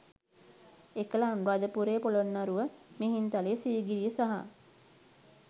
එකල අනුරාධපුරය, පොළොන්නරුව, මිහින්තලය, සීගිරිය සහ